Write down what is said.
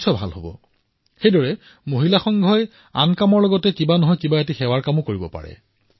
আধুনিক যুগৰ মহিলাৰ ক্লাবে যি কাম কৰে সেয়াতো কৰিবই লগতে মহিলা ক্লাবৰ সকলো সদস্যই মিলি যিকোনো সেৱাৰ কামো একত্ৰিতভাৱে কৰিব